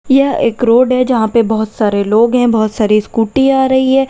यह एक रोड है जहां पे बहोत सारे लोग हैं बहोत सारी स्कूटी आ रही है।